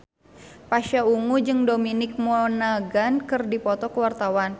Pasha Ungu jeung Dominic Monaghan keur dipoto ku wartawan